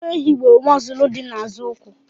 Nwa ehi bụ mọzụlụ dị n'azụ ụkwụ.